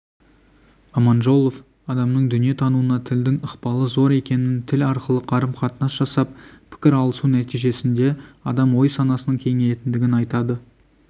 аманжолов адамның дүниетануына тілдің ықпалы зор екенін тіл арқылы қарым-қатынас жасап пікір алысу нәтижесінде адам ой-санасының кеңейетіндігін айтады